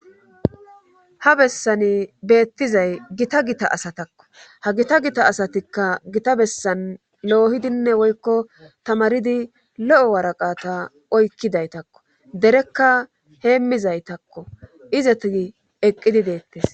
Ha bessani beettizay gita gita asatakko ha gita gita asatikka gita bessan loohidinne woykko tamaridi lo7o waraqata oykkidaytakko derekka heemmizaytakko izeti eqqidi deettes.